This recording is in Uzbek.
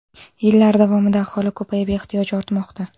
Yillar davomida aholi ko‘payib, ehtiyoj ortmoqda.